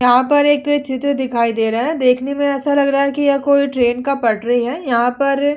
यहाँ पर एक चित्र दिखाई दे रहा है। देखने में ऐसा लग रहा है। यह कोई ट्रैन का पटरी है। यहाँ पर --